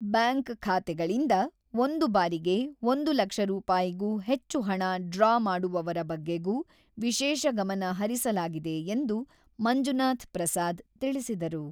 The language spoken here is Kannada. ಬ್ಯಾಂಕ್ ಖಾತೆಗಳಿಂದ ಒಂದು ಬಾರಿಗೆ ಒಂದು ಲಕ್ಷ ರೂಪಾಯಿಗೂ ಹೆಚ್ಚು ಹಣ ಡ್ರಾ ಮಾಡುವವರ ಬಗ್ಗೆಗೂ ವಿಶೇಷ ಗಮನ ಹರಿಸಲಾಗಿದೆ ಎಂದು ಮಂಜುನಾಥ್ ಪ್ರಸಾದ್ ತಿಳಿಸಿದರು.